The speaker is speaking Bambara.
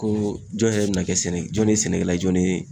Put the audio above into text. Ko jɔn yɛrɛ bena kɛ sɛnɛ jɔn ye sɛnɛkɛla jɔn ne ye